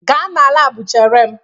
Gaa na lab chere m!